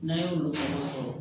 N'an ye olu fana sɔrɔ